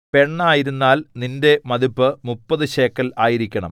പെണ്ണായിരുന്നാൽ നിന്റെ മതിപ്പു മുപ്പതു ശേക്കെൽ ആയിരിക്കണം